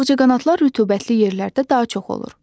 Ağcaqanadlar rütubətli yerlərdə daha çox olur.